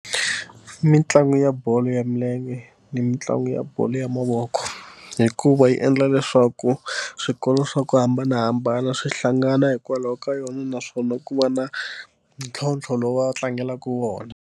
Mintlangu ya bolo ya milenge ni mitlangu ya bolo ya mavoko hikuva yi endla leswaku swikolo swa ku hambanahambana swi hlangana hikwalaho ka yona naswona ku va na ntlhontlho lowu va tlangelaka wona.